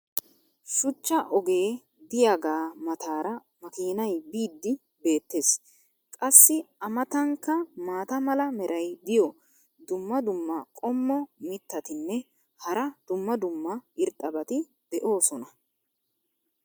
shuchcha ogee diyaagaa mataara makiinay biidi beetees. qassi a matankka maata mala meray diyo dumma dumma qommo mitattinne hara dumma dumma irxxabati de'oosona.